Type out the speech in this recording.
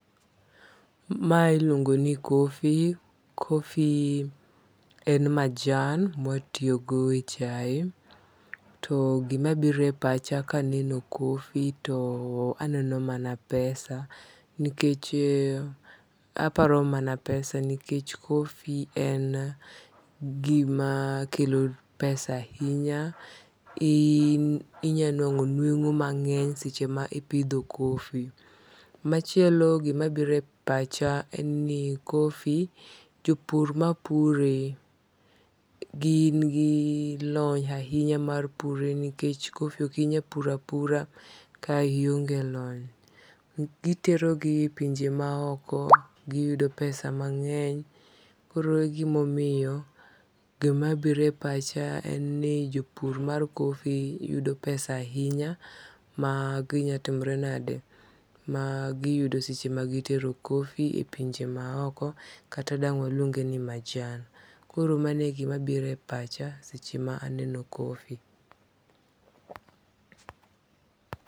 Mailuongo ni coffee, coffee en majan mwatitogo e chai to gimabirepacha kaneno coffee taneno mana pesa nikech aparo mana pesa nikech coffee en gima kelo pesa ahinya inyanwang'o nweng'o mang'eny seche ma ipidho coffee. Machielo gimabire pacha en ni coffee jopur mapure gin gi lony ahinya mar pure nikech coffee okinyal purapura kionge lony gitero gi pinje maoko giyudo pesa mangeny koro e gimomiyo gimabire pacha en ni jopur mar coffee yudo pesa ahinya magiyudo seche ma gitero coffee e pinje maoko kata dang waluonge ni majan koro manegimabire pacha seche maneno coffee